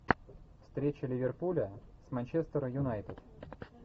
встреча ливерпуля с манчестер юнайтед